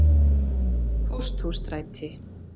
Pósthússtræti